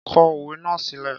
Kọ òwe náà sílẹ́!